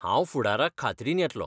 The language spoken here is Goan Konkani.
हांव फुडाराक खात्रीन येतलों